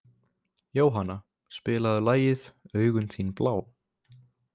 Jóanna, spilaðu lagið „Augun þín blá“.